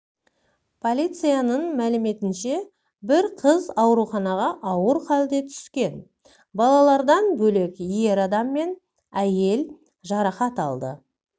полицияның мәліметінше бір қыз ауруханаға ауыр хәлде түскен балалардан бөлек ер адам мен әйел жарақат алды